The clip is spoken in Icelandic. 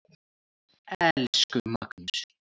Elsku Magnús.